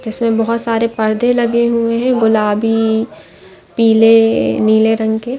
जिसमे बहोत सारे पर्दे लगे हुए है गुलाबी पिले और नीले रंग के--